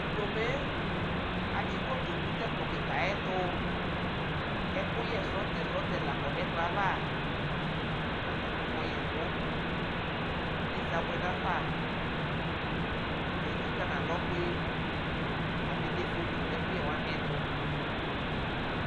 Tʋ fomee, atsikotʋ nʋ tɛ kplɔ kika yɛ tʋ kʋ ɛkʋyɛ srɔtesrɔte la kɔ nʋ ɛkplɔ yɛ ava kʋ atani afɔyɛ ɛkʋ Nyeza abuɛ nafa Atani etsika nʋ alɔ kpe kʋ abede foto nʋ ɛkʋyɛwani ɛtʋ